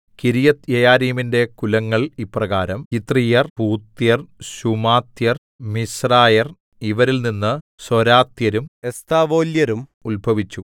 കിര്യത്ത്യെയാരീമിന്റെ കുലങ്ങൾ ഇപ്രകാരം യിത്രീയർ പൂത്യർ ശൂമാത്യർ മിശ്രായർ ഇവരിൽനിന്ന് സൊരാത്യരും എസ്താവോല്യരും ഉത്ഭവിച്ചു